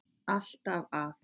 Alltaf að.